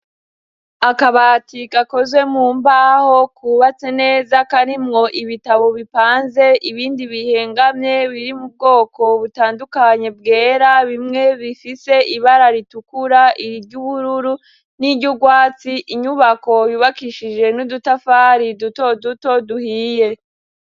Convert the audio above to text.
Akabati gakozwe mu mbaho kubatse neza kari mwo ibitabo bipanze ibindi bihengamye biri mu bwoko butandukanye bwera bimwe bifise ibara ritukura iri ry' ubururu n'iryo urwatsi inyubako yubakishije n'udutafari duto duto duhiye .